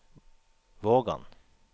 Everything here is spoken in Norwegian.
Vågan